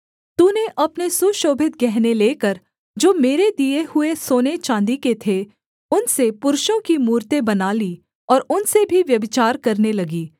तूने अपने सुशोभित गहने लेकर जो मेरे दिए हुए सोनेचाँदी के थे उनसे पुरुषों की मूरतें बना ली और उनसे भी व्यभिचार करने लगी